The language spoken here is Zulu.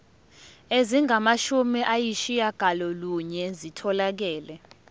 ezingamashumi ayishiyagalolunye zitholakele